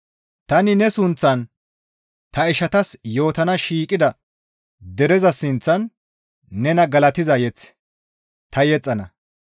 «Tani ne sunththan ta ishatas yootana shiiqida dereza sinththan nena galatiza mazamure ta yexxana.»